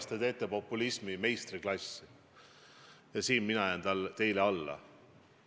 Te demonstreerite populismi meistriklassi ja selles mina jään teile alla.